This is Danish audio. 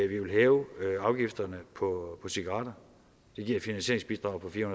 ville hæve afgifterne på cigaretter det giver et finansieringsbidrag på fire